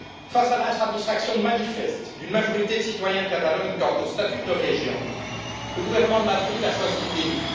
Face à l'insatisfaction manifeste d'une majorité de citoyens de Catalogne quant au statut de leur région, le gouvernement de Madrid a choisi le déni.